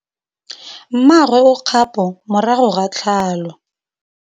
Mmagwe o kgapô morago ga tlhalô.